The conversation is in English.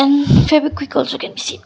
hmm fevikwik also can be seen.